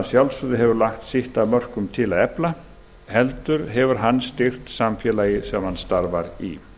sjálfsögðu hefur lagt sitt af mörkum til að efla heldur hefur hann styrkt samfélagið sem hann starfar í